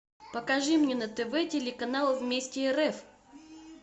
покажи мне на тв телеканал вместе рф